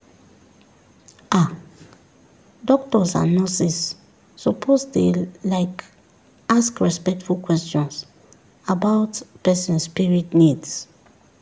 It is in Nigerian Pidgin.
ah doctors and nurses suppose dey like ask respectful questions about person spirit needs.